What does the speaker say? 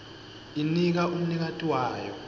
inika umnikati wayo